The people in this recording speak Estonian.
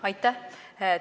Aitäh!